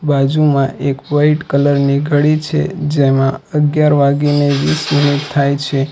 બાજુમાં એક white colour ની ઘડી છે જેમાં અગિયાર વાગીને વીસ મિનિટ થાય છે.